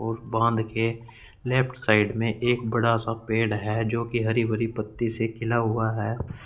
और बांध के लेफ्ट साइड में एक बड़ा सा पेड़ है जो की हरी भरी पत्ती से खिला हुआ है।